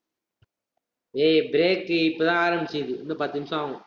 ஏய் break இப்பதான் ஆரம்பிச்சது இன்னும் பத்து நிமிஷம் ஆகும்